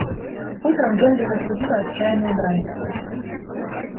утром генри разбудила отчаянная брань